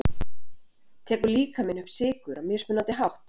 Tekur líkaminn upp sykurinn á mismunandi hátt?